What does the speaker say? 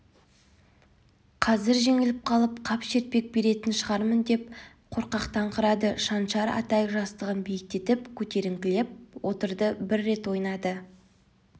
қазір жеңіліп қап шертпек беретін шығармындеп қорқақтаңқырады шаншар атай жастығын биіктетіп көтеріліңкіреп отырды бір рет ойнады